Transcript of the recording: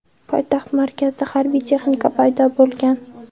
Poytaxt markazida harbiy texnika paydo bo‘lgan.